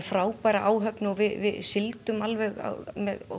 frábæra áhöfn og við sigldum alveg á